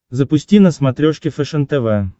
запусти на смотрешке фэшен тв